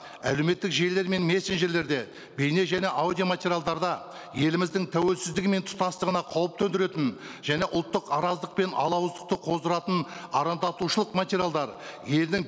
әдеуметтік желілер мен мессенджерлерде бейне және аудио материалдарда еліміздің тәуелсіздігі мен тұтастығына қауіп төндіретін және ұлттық араздық пен алауыздықты қоздыратын арандатушылық материалдар елдің